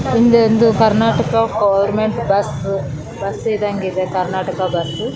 ಹಿಂದೆ ಒಂದು Karnataka government bus bus ಇದಗಿದೆ ಕರ್ಣಾಟಕ ಬಸ್ಸ್ .